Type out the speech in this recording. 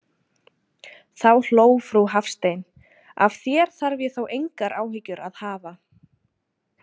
Þá hló frú Hafstein: Af þér þarf ég þó engar áhyggjur að hafa.